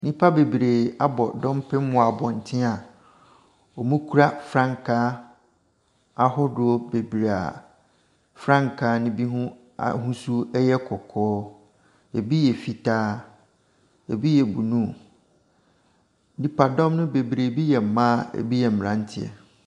Nnipa bebree abɔ dɔmpem ɛwɔ abɔnten a wɔkura frankaa ahodoɔ bebree a frankaa ne binom ahosuo ɛyɛ kɔkɔɔ, ɛbi yɛ fitaa, ɛbi yɛ bruu. Nnipadɔm no bebree ɛbi yɛ mmaa ɛbi yɛ mmeranteɛ.